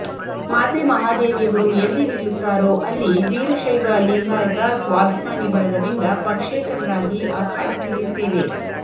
ಮಾತೆ ಮಹಾದೇವಿಯವರು ಎಲ್ಲಿ ನಿಲ್ಲುತ್ತಾರೋ ಅಲ್ಲಿ ವೀರಶೈವ ಲಿಂಗಾಯತ ಸ್ವಾಭಿಮಾನಿ ಬಳಗದಿಂದ ಪಕ್ಷೇತರರಾಗಿ ಅಖಾಡಕ್ಕಿಳಿಯುತ್ತೇವೆ